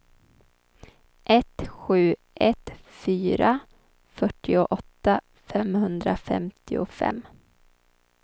ett sju ett fyra fyrtioåtta femhundrafemtiofem